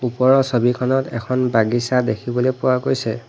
ওপৰৰ ছবিখনত এখন বাগিছা দেখিবলৈ পোৱা গৈছে।